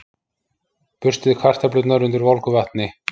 Burstið kartöflurnar undir volgu vatni.